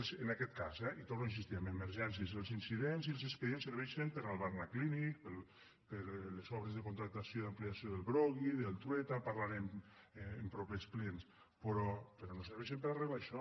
en aquest cas eh i hi torno a insistir amb emergències els incidents i els expedients serveixen per al barnaclínic per a les obres de contractació i ampliació del broggi del trueta en parlarem en propers plens però no serveixen per a arreglar això